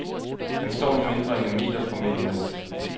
Han står nu mindre end en meter fra mændene.